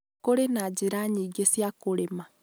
Kũrĩ na njĩra nyingĩ cia kũrĩma